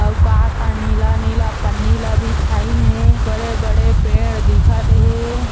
अउ का का नीला नीला पन्नी ला बिछाइन हे बड़े-बड़े पेड़ दिखत हे।